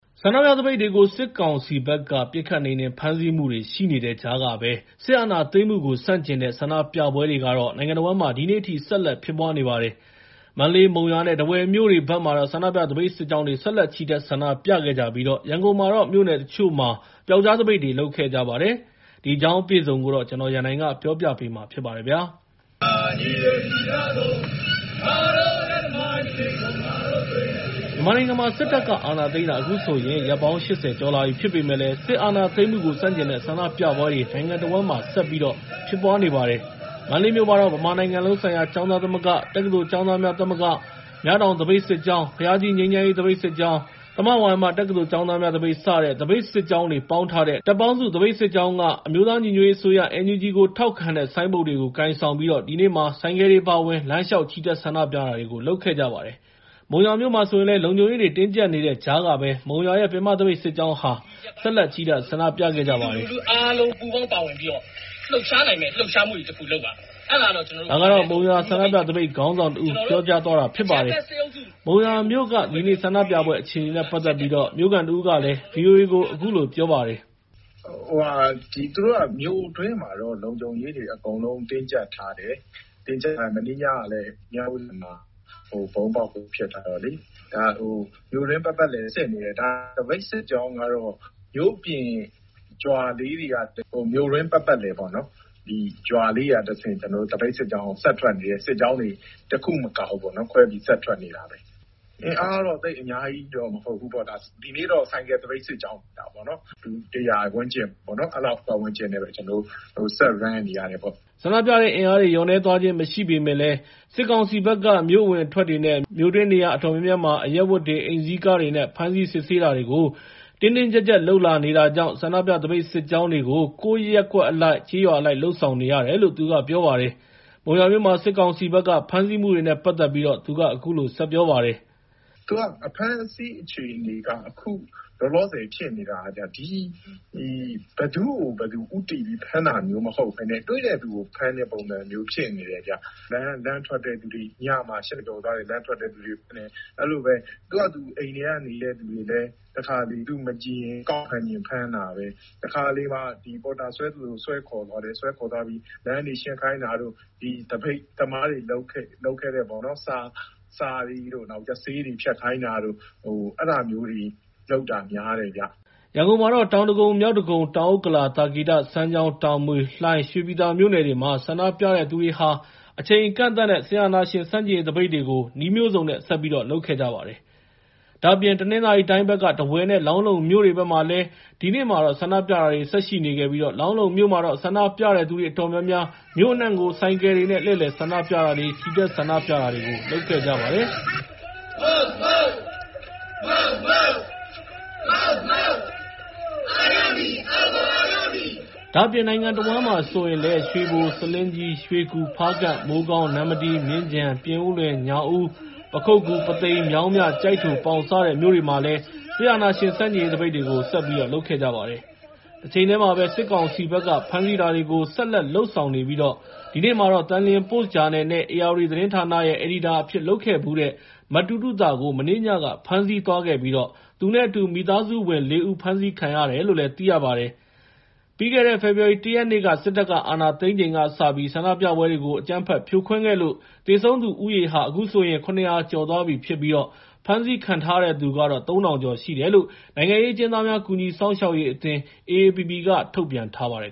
ဆန္ဒပြသပိတ်တွေကို စစ်ကောင်စီဘက်က ပစ်ခတ်နှိမ်နင်း ဖမ်းဆီးမှုတွေ ရှိနေတဲ့ကြားကပဲ စစ်အာဏာသိမ်းမှုကို ဆန့်ကျင်တဲ့ ဆန္ဒပြပွဲတွေ နိုင်ငံတဝန်းမှာ ဒီနေ့အထိ ဆက်လက်ဖြစ်ပွားနေပါတယ်။ မန္တလေး၊ မုံရွာနဲ့ ထားဝယ်မြို့တွေမှာ ဆန္ဒပြ သပိတ်စစ်ကြောင်းတွေနဲ့ ဆက်လက် ချီတက်ဆန္ဒပြခဲ့ကြပြီး ရန်ကုန်မှာတော့ မြို့နယ်တချို့မှာ ပြောက်ကျားသပိတ်တွေကို လုပ်ခဲ့ကြပါတယ်။ ဒီအကြောင်းအပြည့်အစုံကို ကိုရန်နိုင် တင်ပြပေးထားပါတယ်။ မြန်မာနိုင်ငံမှာ စစ်တပ်က အာဏာသိမ်းတာ အခုဆို ရက်ပေါင်း ၈၀ ကျော်လာပြီ ဖြစ်ပေမယ့်လည်း စစ်အာဏာသိမ်းမှုကို ဆန့်ကျင်တဲ့ ဆန္ဒပြပွဲတွေ နိုင်ငံတဝန်းမှာ ဆက်လက်ဖြစ်ပွားနေပါတယ်။ မန္တလေးမြို့မှာတော့ ဗမာနိုင်ငံလုံးဆိုင်ရာ ကျောင်းသားသမဂ္ဂ၊ တက္ကသိုလ်ကျောင်းသားများသမဂ္ဂ၊ မြတောင်သပိတ်စစ်ကြောင်း၊ ဘုရားကြီး ငြိမ်းချမ်းရေး သပိတ်စစ်ကြောင်း၊ တမ္ပဝတီ လူထုသပိတ်စစ်ကြောင်း၊ တက္ကသိုလ်ဆရာ ဆရာမများ သပိတ်စစ်ကြောင်း၊ သမဝါယမတက္ကသိုလ် ကျောင်းသားများသပိတ် စတဲ့ သပိတ်စစ်ကြောင်းတွေ ပေါင်းထားတဲ့ တပ်ပေါင်းစု သပိတ်စစ်ကြောင်းက အမျိုးသားညီညွတ်ရေးအစိုးရ (NUG) ကို ထောက်ခံတဲ့ ဆိုင်းဘုတ်တွေ ကိုင်ဆောင်ပြီး ဒီနေ့မှာ ဆိုင်ကယ်တွေအပါအဝင် လမ်းလျှောက်ချီတက် ဆန္ဒပြတာတွေ လုပ်ခဲ့ကြပါတယ်။ မုံရွာမြို့မှာဆိုရင်လည်း လုံခြုံရေးတွေ တင်းကျပ်နေတဲ့ကြားက မုံရွာရဲ့ ပင်မသပိတ်စစ်ကြောင်းဟာ ဆက်လက်ချီတက် ဆန္ဒပြခဲ့ကြပါတယ်။ “ပြည်သူလူထုအားလုံး ပူးပေါင်းပါဝင်ပြီးတော့ လှုပ်ရှားနိုင်မယ့် လှုပ်ရှားမှုကြီးတခု လုပ်ပါမယ်။” ဒါကတော့ မုံရွာ ဆန္ဒပြသပိတ်ခေါင်းဆောင်တဦး ပြောကြားသွားတာ ဖြစ်ပါတယ်။ မုံရွာမြို့က ဒီနေ့ ဆန္ဒပြပွဲ အခြေအနေနဲ့ ပတ်သက်ပြီးတော့ မြို့ခံတဦးက ဗွီအိုအေကို အခုလို ပြောပါတယ်။ “သူတို့က မြို့တွင်းမှာတော့ လုံခြုံရေးတွေ အကုန်လုံး တင်းကျပ်ထားတယ်။ မနေ့ညကလည်း မြဝတီဘဏ်မှာ ဗုံးပေါက်မှု ဖြစ်ထားတော့လေ။ မြို့တွင်းပတ်ပတ်လည် စစ်နေတယ်။ သပိတ်စစ်ကြောင်းကတော့ မြို့ပြင်ရွာလေးတွေက မြို့တွင်း ပတ်ပတ်လည်ပေါ့နော်၊ ရွာလေးတွေကတဆင့် သပိတ်စစ်ကြောင်း ဆက်ထွက်နေတယ်။ စစ်ကြောင်းတွေ တခုမကဘူး၊ ခွဲပြီး ဆက်ထွက်နေတာပဲ။ အင်အားကတော့ သိပ်အများကြီး မဟုတ်ဘူးပေါ့။ ဒီနေ့တော့ ဆိုင်ကယ်သပိတ်စစ်ကြောင်း ထွက်တာပေါ့။ လူ ၁၀၀ ဝန်းကျင်ပေါ့၊ အဲလောက်ပတ်ဝန်းကျင်နဲ့ပဲ ကျနော်တို့ ဆက်သွားနေရတယ်။” ဆန္ဒပြတဲ့အင်အားတွေ လျော့နည်းသွားခြင်း မရှိပေမယ့် စစ်ကောင်စီဘက်က မြို့အဝင်အထွက်တွေနဲ့ မြို့တွင်း နေရာအတော်များများမှာ အရပ်ဝတ်တွေ၊ အိမ်စီးကားတွေနဲ့ ဖမ်းဆီး စစ်ဆေးတာတွေကို တင်းတင်းကျပ်ကျပ် လုပ်လာနေတာကြောင့် ဆန္ဒပြ သပိတ်စစ်ကြောင်းတွေကို ကိုယ့်ရပ်ကွက်အလိုက် ကျေးရွာအလိုက် လုပ်ဆောင်နေရတယ်လို့လည်း သူကပြောပါတယ်။ မုံရွာမြို့မှာ စစ်ကောင်စီဘက်က ဖမ်းဆီးမှုတွေနဲ့ပတ်သက်ပြီး သူက အခုလို ဆက်ပြောပါတယ်။ “အဖမ်းအဆီး အခြေအနေက အခုလောလောဆယ် ဖြစ်နေတာက ဘယ်သူ့ကို ဦးတည်ပြီး ဖမ်းတာမျိုး မဟုတ်ဘဲနဲ့ တွေ့တဲ့သူကို ဖမ်းတဲ့ပုံစံမျိုး ဖြစ်နေတယ်။ လမ်းထွက်တဲ့သူတွေ၊ ညမှာ ၈ နာရီကျော်သွားတဲ့ လမ်းထွက်တဲ့သူတွေ ဖမ်းတယ်။ အဲဒီလိုပဲ သူ့ဟာသူ အိမ်ထဲနေတဲ့သူတွေလည်း တခါတလေ သူမကြည်ရင် ကောက်ဖမ်းချင် ဖမ်းတာပဲ။ တခါတလေ ပေါ်တာဆွဲသလို ဆွဲခေါ်သွားတယ်၊ ဆွဲခေါ်သွားပြီး လမ်းတွေ ရှင်းခိုင်းတာတို့၊ သပိတ်သမားတွေ လုပ်ခဲ့တဲ့ စာတွေတို့၊ ဆေးတွေ ဖျက်ခိုင်းတာတို့ အဲဒါမျိုးတွေ လုပ်တာများတယ်ဗျ။” ရန်ကုန်မှာတော့ တောင်ဒဂုံ၊ မြောက်ဒဂုံ၊ တောင်ဥက္ကလာ၊ သာကေတ၊ စမ်းချောင်း၊ တာမွေ၊ လှိုင်နဲ့ ရွှေပြည်သာမြို့နယ်တွေမှာ ဆန္ဒပြတဲ့သူတွေက အချိန်အကန့်အသတ်နဲ့ စစ်အာဏာရှင်ဆန့်ကျင်ရေး သပိတ်တွေကို နည်းလမ်းမျိုးစုံနဲ့ လုပ်ခဲ့ကြပါတယ်။ ဒါ့အပြင် တနင်္သာရီတိုင်းဘက်က ထားဝယ်နဲ့ လောင်းလုံမြို့တွေမှာလည်း ဒီနေ့မှာ ဆန္ဒပြတာတွေ ဆက်ရှိနေခဲ့ပြီး လောင်းလုံမြို့မှာတော့ ဆန္ဒပြတဲ့သူတွေ အတော်များများ မြို့အနှံ့ကို ဆိုင်ကယ်တွေနဲ့ လှည့်လည်ဆန္ဒပြတာတွေ၊ ချီတက်ဆန္ဒပြတာတွေ လုပ်ခဲ့ကြပါတယ်။ နိုင်ငံတဝန်းမှာဆိုရင်လည်း ရွှေဘို၊ ဆားလင်းကြီး၊ ရွှေကူ၊ ဖားကန့်၊ မိုးကောင်း၊ နမ္မတီး၊ မြင်းခြံ၊ ပြင်ဦးလွင်၊ ညောင်ဦး၊ ပခုက္ကူ၊ ပုသိမ်၊ မြောင်းမြ၊ ကျိုက်ထို၊ ပေါင် စတဲ့မြို့တွေမှာလည်း စစ်အာဏာရှင်ဆန့်ကျင်ရေး သပိတ်တွေ ဆက်လက်လုပ်ဆောင်ခဲ့ကြပါတယ်။ တချိန်တည်းမှာပဲ စစ်ကောင်စီဘက်က ဖမ်းဆီးတာတွေကို ဆက်လက်လုပ်ဆောင်နေပြီး ဒီနေ့မှာတော့ သန်လျင်ပို့စ်ဂျာနယ်နဲ့ ဧရာဝတီသတင်းဌာနရဲ့ အယ်ဒီတာအဖြစ် လုပ်ခဲ့ဖူးတဲ့ မတူးတူးသာကို မနေ့ညက ဖမ်းဆီးသွားခဲ့ပြီး သူနဲ့အတူ မိသားစုဝင် ၄ ဦး ဖမ်းဆီးခံခဲ့ရတယ်လို့ သိရပါတယ်။ ပြီးခဲ့တဲ့ ဖေဖော်ဝါရီလ ၁ ရက်နေ့ စစ်တပ်က အာဏာသိမ်းပြီးချိန်ကစပြီး ဆန္ဒပြပွဲတွေကို အကြမ်းဖက်ဖြိုခွဲခဲ့လို့ သေဆုံးသူဦးရေဟာ ၇၀၀ ကျော်သွားပြီဖြစ်ပြီး ဖမ်းဆီးခံထားရသူကတော့ ၃,၀၀၀ ကျော်ရှိတယ်လို့ နိုင်ငံရေးအကျဉ်းသားများ ကူညီစောင့်ရှောက်ရေးအသင်း (AAPP) က ထုတ်ပြန်ထားပါတယ်